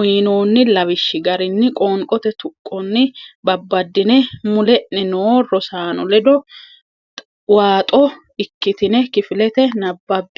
uynoonni lawishshi garinni qoonqote tuqqonni babbaddine mule’ne noo rosaano ledo waaxo ikkitine kifilete nabbabbe.